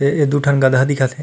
ये ये दु ठन गधा दिखत हे।